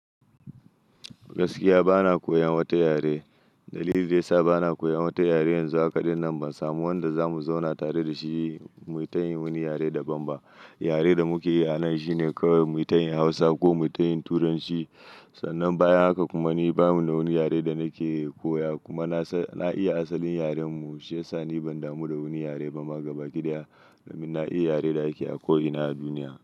Gaskiya bana koyan wata yare. Dalili da ya sa bana koyan wata yare yanzu haka ɗinnan ban samu wanda za mu zauna tare da shi mu tayin wani yare daban ba. Yare da muke yi a nan shine kawai mu ta yin Hausa ko mu ta yin Turanci. Sannan bayan haka kuma ni bani da wani yare da nake koya. Kuma nasan na iya asalin yaren mu, shi ya sa ni ban damu da wani yare ba. Ma gabaki ɗaya, domin na iya yare da ake a ko ina a duniya.